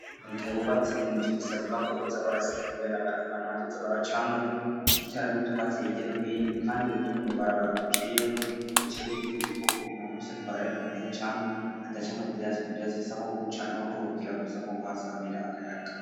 Mugihe bubatse inzu bisabwa ko uza orasika ibibarabara abantu baza baracamwo bacutiaranit kwasi higa n ohino kandi bitwa mba barabara uciyemo icab ibitegeko ko umuntu wes riko araaregana arihacanu adacamu bizatsi mu gireasisaho gucanaho kuruhukira gusa nko guhasamira akayaga.